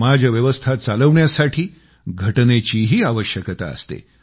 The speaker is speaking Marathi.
समाज व्यवस्था चालवण्यासाठी घटनेचीही आवश्यकता असते